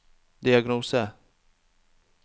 diagnose